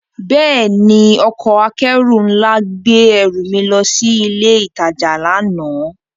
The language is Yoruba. Bẹ́ẹ̀ni, ọkọ̀ akẹ́rù nla gbe ẹru mi lọ si ile itaja lana.